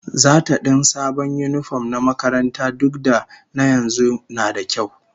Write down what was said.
Zata din sabon yinifom na makaranta duk da na yanzu nada kyau